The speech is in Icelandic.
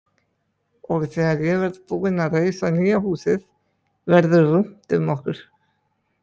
Og þegar ég verð búinn að reisa nýja húsið verður rúmt um okkur!